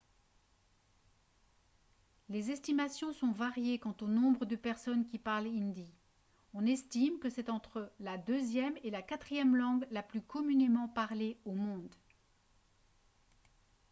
les estimations sont variées quant au nombre de personnes qui parlent hindi on estime que c'est entre la deuxième et la quatrième langue la plus communément parlée au monde